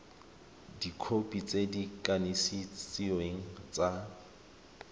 dikhopi tse di kanisitsweng tsa